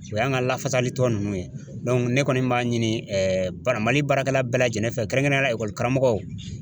O y'an ka lafasali tɔn ninnu ye ne kɔni b'a ɲini bara Mali baarakɛla bɛɛ lajɛlen fɛ kɛrɛnkɛrɛnnenya la ekɔlikaramɔgɔw.